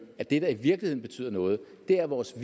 at det der i virkeligheden betyder noget er at vores